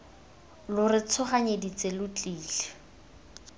lo re tshoganyeditse lo tlile